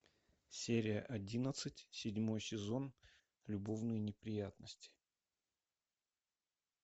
серия одиннадцать седьмой сезон любовные неприятности